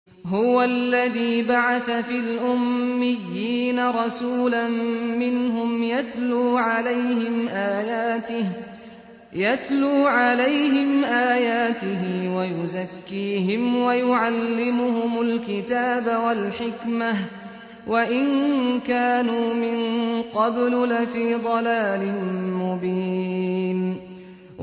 هُوَ الَّذِي بَعَثَ فِي الْأُمِّيِّينَ رَسُولًا مِّنْهُمْ يَتْلُو عَلَيْهِمْ آيَاتِهِ وَيُزَكِّيهِمْ وَيُعَلِّمُهُمُ الْكِتَابَ وَالْحِكْمَةَ وَإِن كَانُوا مِن قَبْلُ لَفِي ضَلَالٍ مُّبِينٍ